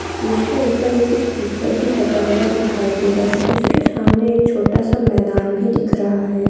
जिसके उपर एक स्पीकर भी लगा हुआ दिखाई दे रहा हैं। इसके सामने एक छोटा सा मैदान भी दिख रहा हैं।